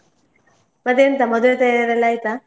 ಮತ್ತೆಂತ ಮದುವೆ ತಯಾರಿ ಎಲ್ಲ ಆಯ್ತಾ?